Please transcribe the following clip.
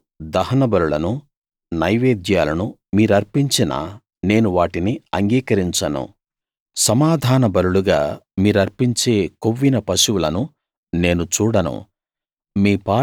నాకు దహనబలులనూ నైవేద్యాలనూ మీరర్పించినా నేను వాటిని అంగీకరించను సమాధాన బలులుగా మీరర్పించే కొవ్విన పశువులను నేను చూడను